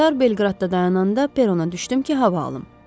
Qatar Belqradda dayananda perona düşdüm ki, hava alım.